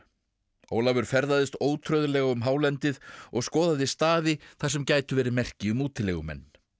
Ólafur ferðaðist ótrauðlega um hálendið og skoðaði staði þar sem gætu verið merki um útilegumenn